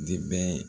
Debɛ